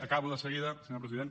acabo de seguida senyor president